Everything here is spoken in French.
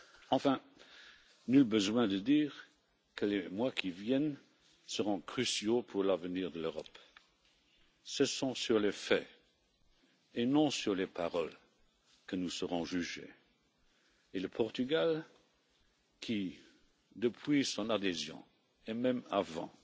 Enfin, nul besoin de dire que les mois qui viennent seront cruciaux pour l'avenir de l'Europe. Ce sont sur les faits et non sur les paroles que nous serons jugés, et le Portugal qui, depuis son adhésion et même avant,